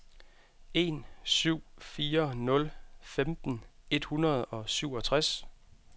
en syv fire nul femten et hundrede og syvogtres